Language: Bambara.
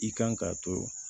I kan ka to